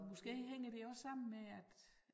Måske hænger det også sammen med at